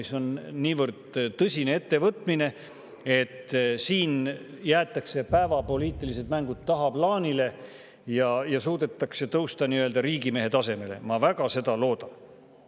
See on niivõrd tõsine ettevõtmine, et siin jäetakse päevapoliitilised mängud tagaplaanile ja suudetakse tõusta riigimehe tasemele – ma seda väga loodan.